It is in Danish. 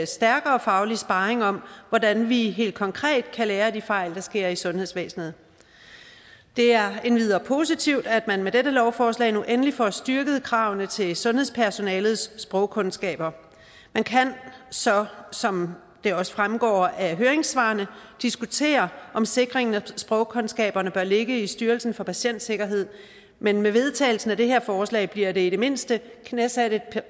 stærkere faglig sparring om hvordan vi helt konkret kan lære af de fejl der sker i sundhedsvæsenet det er endvidere positivt at man med dette lovforslag nu endelig får styrket kravene til sundhedspersonalets sprogkundskaber man kan så som det også fremgår af høringssvarene diskutere om sikring af sprogkundskaberne bør ligge i styrelsen for patientsikkerhed men med vedtagelsen af det her forslag bliver der i det mindste knæsat